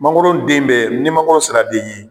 Mangoro den bɛ ni mangoro sera den ye.